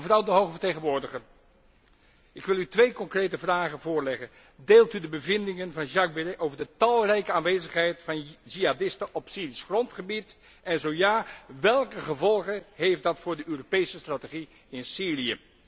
Mevrouw de hoge vertegenwoordiger, ik wil u twee concrete vragen voorleggen deelt u de bevindingen van Jacques Beres over de talrijke aanwezigheid van jihadisten op Syrisch grondgebied en zo ja, welke gevolgen heeft dat voor de Europese strategie in Syrië?